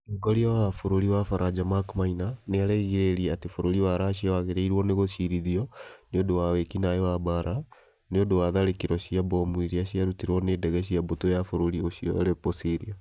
Mũtongoria wa bũrũri wa Faranja Mark Maina nĩ arerĩgĩrĩire atĩ bũrũri wa Russia wagĩrĩirwo nĩ gũcirithio nĩ ũndũ wa wĩki-naĩ wa mbaara nĩ ũndũ wa tharĩkĩro cia mbomu iria ciarutirwo nĩ ndege cia mbũtũ ya bũrũri ũcio Aleppo, Syria.